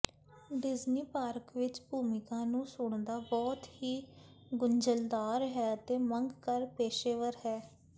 Disney park ਵਿਚ ਭੂਮਿਕਾ ਨੂੰ ਸੁਣਦਾ ਬਹੁਤ ਹੀ ਗੁੰਝਲਦਾਰ ਹੈ ਅਤੇ ਮੰਗ ਕਰ ਪੇਸ਼ੇਵਰ ਹਨ